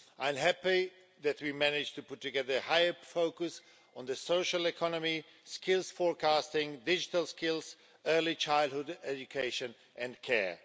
I am happy that we managed to put together a higher focus on the social economy, skills forecasting, digital skills, early childhood education and care.